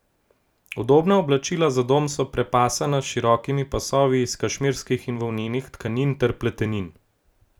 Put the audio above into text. Udobna oblačila za dom so prepasana s širokimi pasovi iz kašmirskih in volnenih tkanin ter pletenin.